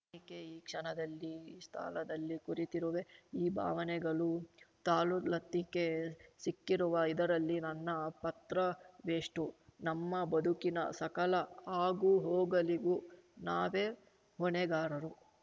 ನಾನೇಕೆ ಈ ಕ್ಷಣದಲ್ಲಿ ಈ ಸ್ಥಳದಲ್ಲಿ ಕೂರಿತಿರುವೆ ಈ ಭಾವನೆಗಳು ತಾಳುಲತ್ತಿಕೆ ಸಿಕ್ಕಿರುವ ಇದರಲ್ಲಿ ನನ್ನ ಪತ್ರವೆಷ್ಟು ನಮ್ಮ ಬದುಕಿನ ಸಕಲ ಆಗುಹೋಗಲಿಗೂ ನಾವೇ ಹೊಣೆಗಾರರು